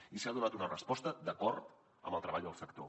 i s’hi ha donat una resposta d’acord amb el treball del sector